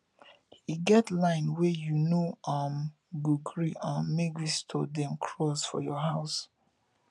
e get line wey you no um go gree um make visitor dem cross for your house